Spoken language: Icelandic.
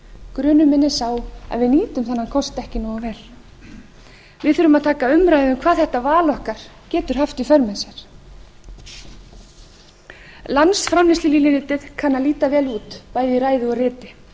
grunur minn er sá að við nýtum þennan kost ekki nógu vel við þurfum að taka umræðu um hvað þetta val okkar getur haft í för með sér landsframleiðslulínuritið kann að líta vel út bæði í ræðu og riti